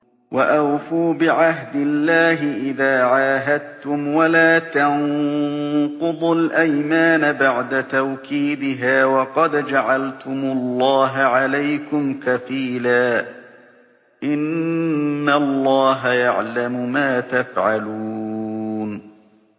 وَأَوْفُوا بِعَهْدِ اللَّهِ إِذَا عَاهَدتُّمْ وَلَا تَنقُضُوا الْأَيْمَانَ بَعْدَ تَوْكِيدِهَا وَقَدْ جَعَلْتُمُ اللَّهَ عَلَيْكُمْ كَفِيلًا ۚ إِنَّ اللَّهَ يَعْلَمُ مَا تَفْعَلُونَ